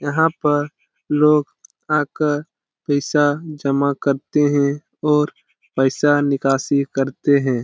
यहाँ पर लोग आकर पैसा जमा करते हैं और पैसा निकासी करते हैं।